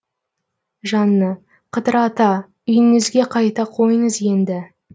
жанна қыдыр ата үйіңізге қайта қойыңыз енді